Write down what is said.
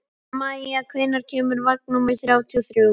Maia, hvenær kemur vagn númer þrjátíu og þrjú?